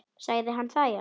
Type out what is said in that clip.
Sagði hann það já.